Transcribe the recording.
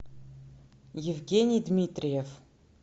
евгений дмитриев